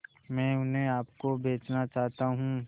मैं उन्हें आप को बेचना चाहता हूं